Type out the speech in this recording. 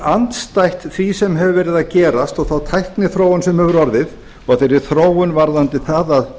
andstætt því sem hefur verið að gerast og þeirri tækniþróun sem hefur orðið og þeirri þróun varðandi það